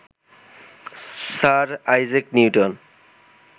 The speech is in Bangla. sir Isaac Newton